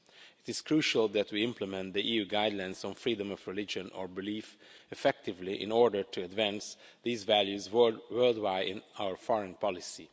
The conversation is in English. It is crucial that we implement the EU guidelines on freedom of religion or belief effectively, in order to advance these values worldwide in our foreign policy.